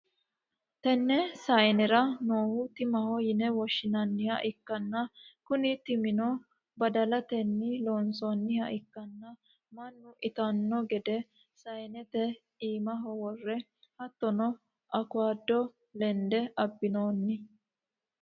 tenne saanera noohu timaho yine woshshinanniha ikkanna, kuni timino badalatenni loonsoonniha ikkanna, mannu itanno gede saanete iimaho worre hattono awukaado lende abbinoonni.